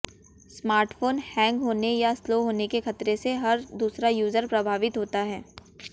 smartphone hang होने या slow होने के खतरे से हर दूसरा यूजर प्रभावित होता है